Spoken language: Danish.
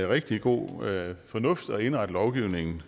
rigtig god fornuft i at indrette lovgivningen